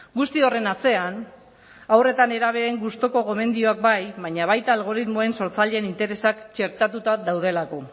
guzti horren atzean haur eta nerabeen gustuko gomendioak bai baina baita algoritmoen sortzaileen interesak txertatuta daudelako